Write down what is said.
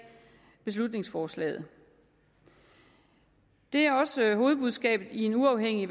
beslutningsforslaget det er også hovedbudskabet i en uafhængig